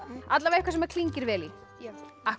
allavega eitthvað sem klingir vel í já